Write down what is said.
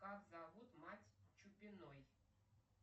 как зовут мать чупиной